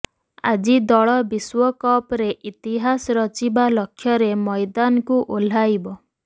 ଆଜି ଦଳ ବିଶ୍ବକପରେ ଇତିହାସ ରଚିବା ଲକ୍ଷ୍ୟରେ ମଇଦାନକୁ ଓହ୍ଲାଇବ